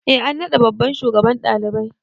E an naɗa babban shugaban ɗalibai.